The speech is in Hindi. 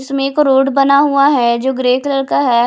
इसमें एक रोड बना हुआ है जो ग्रे कलर का है।